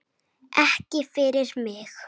Ekki fyrir mig!